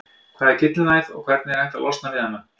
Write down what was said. Hvað er gyllinæð og hvernig er hægt að losna við hana?